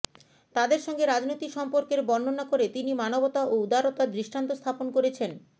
তাদের সঙ্গে রাজনৈতিক সম্পর্কের বর্ণনা করে তিনি মানবতা ও উদারতার দৃষ্টান্ত স্থাপন করেছেন